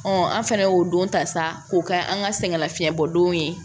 an fɛnɛ y'o don ta sa k'o kɛ an ka sɛgɛn lafiɲɛbɔ don ye